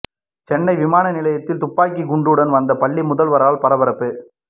சென்னை விமான நிலையத்தில் துப்பாக்கி குண்டுடன் வந்த பள்ளி முதல்வரால் பரபரப்பு